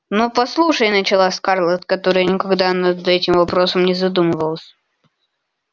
но послушай начала скарлетт которая никогда над этим вопросом не задумывалась